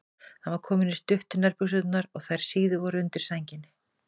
Hann var kominn í stuttu nærbuxurnar og þær síðu voru undir sænginni.